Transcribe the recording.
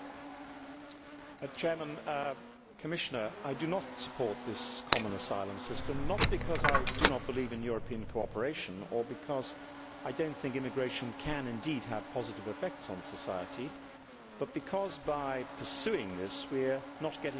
Mr President, I do not support this common asylum system, not because I do not believe in European cooperation or because I do not think immigration can indeed have positive effects on society, but because, by pursuing this, we are not getting to the root of the problem.